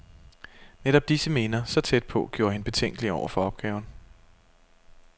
Netop disse minder, så tæt på, gjorde hende betænkelig over for opgaven.